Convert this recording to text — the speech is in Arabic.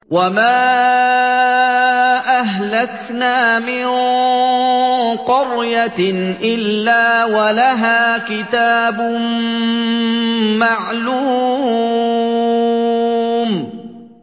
وَمَا أَهْلَكْنَا مِن قَرْيَةٍ إِلَّا وَلَهَا كِتَابٌ مَّعْلُومٌ